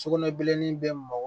Sugunɛbilennin bɛ mɔgɔ